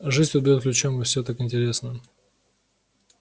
жизнь тут бьёт ключом и всё так интересно